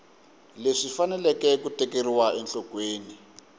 leswi faneleke ku tekeriwa enhlokweni